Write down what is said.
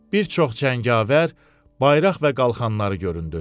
Bir çox cəngavər bayraq və qalxanları göründü.